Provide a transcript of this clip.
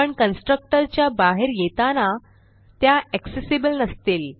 पण कन्स्ट्रक्टर च्या बाहेर येताना त्या एक्सेसिबल नसतील